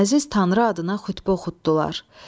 Əziz Tanrı adına xütbə oxutdular.